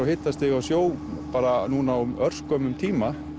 hitastigi á sjó bara núna á örskömmum tíma